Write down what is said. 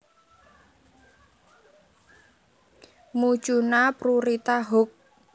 Mucuna prurita Hook